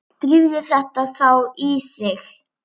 Drífðu þetta þá í þig.